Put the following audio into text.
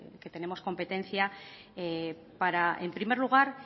que tenemos competencia para en primer lugar